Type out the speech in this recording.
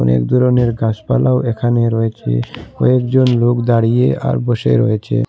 অনেক দরনের গাসপালাও এখানে রয়েছে কয়েকজন লোক দাঁড়িয়ে আর বসে রয়েছে।